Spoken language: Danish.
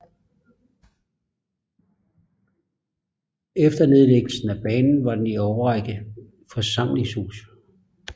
Efter nedlæggelsen af banen var den i en årrække forsamlingshus